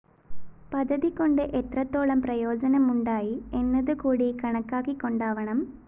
പദ്ധതികൊണ്ട് എത്രത്തോളം പ്രയോജനമുണ്ടായി എന്നതുകൂടി കണക്കാക്കിക്കൊണ്ടാവണം